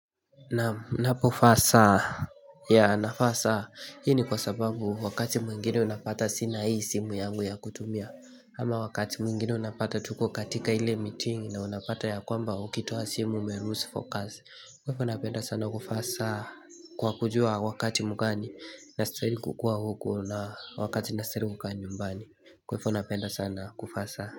Nanipovaa saa Yeah navaa hii ni kwa sababu wakati mwingine unapata sina hii simu yangu ya kutumia ama wakati mwingine unapata tuko katika ile meeting na unapata yakwamba ukitoa simu ume loose focus kwa hivo napenda sana kuvaa saa Kwa kujua wakati mgani nastahiri kukuwa uku na wakati nastahiri kukaa nyumbani kwa hivyo napenda sana kuvaa saa.